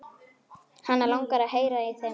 Hana langar að heyra í þeim núna.